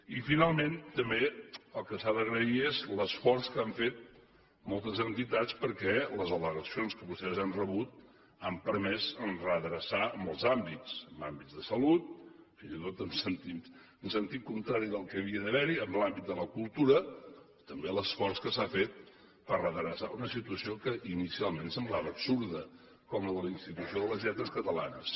i finalment també el que s’ha d’agrair és l’esforç que han fet moltes entitats perquè les al·legacions que vostès han rebut han permès redreçar molts àmbits en l’àmbit de salut fins i tot en sentit contrari del que havia d’haver hi en l’àmbit de la cultura també l’esforç que s’ha fet per redreçar una situació que inicialment semblava absurda com la de la institució de les lletres catalanes